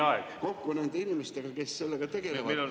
... sain kokku nende inimestega, kes sellega tegelevad.